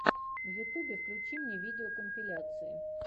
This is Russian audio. в ютубе включи мне видеокомпиляции